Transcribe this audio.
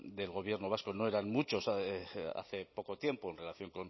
del gobierno vasco no eran muchos hace poco tiempo en relación